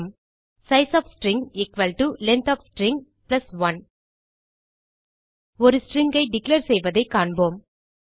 size of string length of string 1 ஒரு stringஐ declare செய்வதைக் காண்போம்